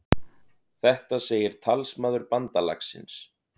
Þetta segir talsmaður bandalagsins